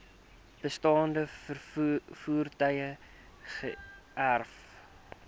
bestaande voertuie geërf